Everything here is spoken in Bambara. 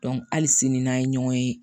hali sini n'an ye ɲɔgɔn ye